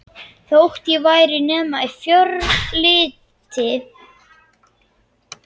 Þótt ekki væri nema í fjölriti.